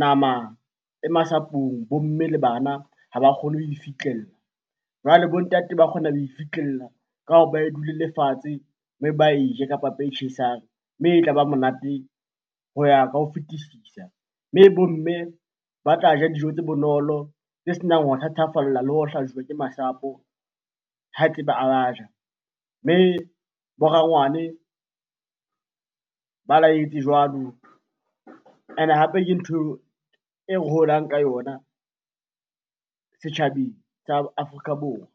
nama e masapong, bo mme le bana ha ba kgone ho e fihlella. Jwale bo ntate ba kgona ho e fihlella ka hore ba e dulele fatshe mme ba e je ka papa e tjhesang, mme e tlaba monate ho ya ka ho fetisisa. Mme bo mme ba tla ja dijo tse bonolo, tse senang ho thathafalla le ho ke masapo ha a ba ja. Mme bo rangwane ba laetse jwalo, ene hape ke ntho e re holang ka yona setjhabeng sa Afrika Borwa.